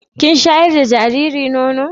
Kin shayar da jariri nono.